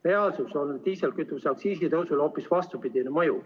Reaalsuses on diislikütuse aktsiisi tõusul hoopis vastupidine mõju.